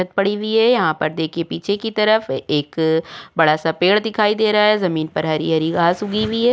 पड़ी हुई है यहाँ पर देखिए पीछे की तरफ एक बड़ा सा पेड़ दिखाई दे रहा है जमीन पर हरी-हरी घास उगी हुई है।